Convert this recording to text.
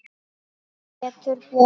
Pétur Björn.